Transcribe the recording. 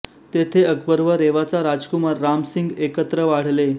तेथे अकबर व रेवाचा राजकुमार राम सिंग एकत्र वाढले